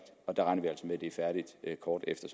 er færdigt kort efter